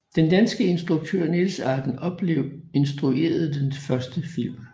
Den danske instruktør Niels Arden Oplev instruerede den første film